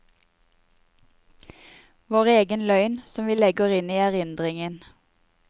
Vår egen løgn, som vi legger inn i erindringen.